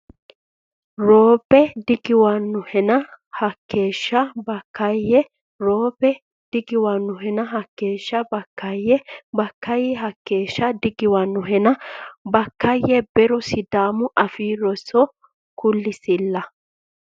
ro Be digiwannohena Hakkeeshsha Bakkaayye ro Be digiwannohena Hakkeeshsha Bakkaayye Bakkaayye Hakkeeshsha digiwannohena Bakkaayye Be ro Sidaamu Afii Rosi kulisilla !